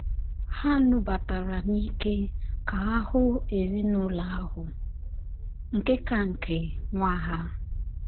Ha nubatara n’ike ka ha hụ ezinụlọ ahụ, nke ka nke, nwa ha.